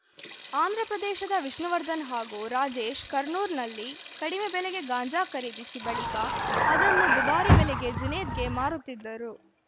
ಆಂಧ್ರಪ್ರದೇಶದ ವಿಷ್ಣುವರ್ಧನ್ ಹಾಗೂ ರಾಜೇಶ್‌ ಕರ್ನೂಲ್‌ನಲ್ಲಿ ಕಡಿಮೆ ಬೆಲೆಗೆ ಗಾಂಜಾ ಖರೀದಿಸಿ ಬಳಿಕ ಅದನ್ನು ದುಬಾರಿ ಬೆಲೆಗೆ ಜುನೇದ್‌ಗೆ ಮಾರುತ್ತಿದ್ದರು